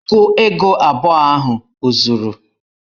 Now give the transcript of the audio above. Ogu ego abụọ ahụ o zuru?